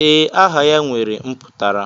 Ee, aha ya nwere mputara.